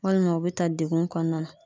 Walima o be ta degun kɔnɔna na.